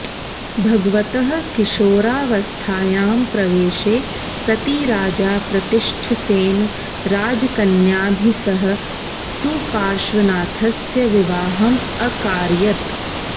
भगवतः किशोरावस्थायां प्रवेशे सति राजा प्रतिष्ठसेनः राजकन्याभिः सह सुपार्श्वनाथस्य विवाहम् अकारयत्